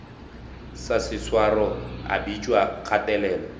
sa seswaro a bitšwa kgatelelo